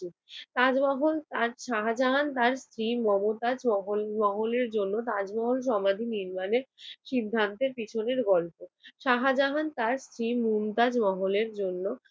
তাজমহল! শাহজাহান তার স্ত্রী মমতাজ মহলের জন্য তাজমহল সমাধি নির্মাণের সিদ্ধান্তের পিছনের গল্প। শাহাজাহান তার স্ত্রী মমতাজ মহলের জন্য